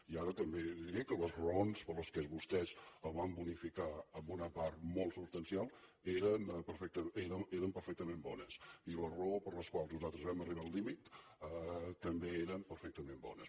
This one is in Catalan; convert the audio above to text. i ara també li diré que les raons per les quals vostès el van bonificar en una part molt substancial eren perfectament bones i les raons per les quals nosaltres vam arribar al límit també eren perfectament bones